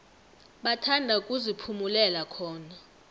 bathanda ukuziphumulela khona